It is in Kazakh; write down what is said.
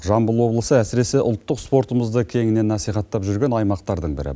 жамбыл облысы әсіресе ұлттық спортымызды кеңінен насихаттап жүрген аймақтардың бірі